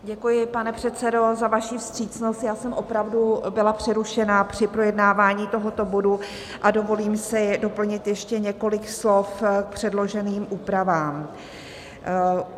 Děkuji, pane předsedo, za vaši vstřícnost, já jsem opravdu byla přerušena při projednávání tohoto bodu a dovolím si doplnit ještě několik slov k předloženým úpravám.